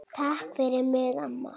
Takk fyrir mig amma.